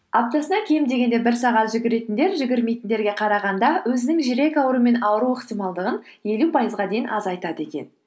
аптасына кем дегенде бір сағат жүгіретіндер жүгірмейтіндерге қарағанда өзінің жүрек ауруы мен ауру ықтималдығын елу пайызға дейін азайтады екен